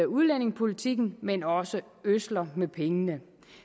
udlændingepolitikken men også ødsler med pengene